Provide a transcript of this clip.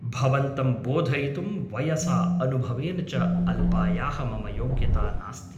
भवन्तं बोधयितुं वयसा अनुभवेन च अल्पायाः मम योग्यता नास्ति ।